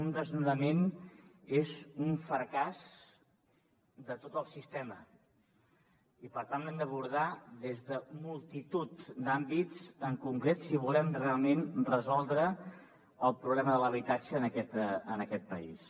un desnonament és un fracàs de tot el sistema i per tant l’hem d’abordar des de multitud d’àmbits en concret si volem realment resoldre el problema de l’habitatge en aquest país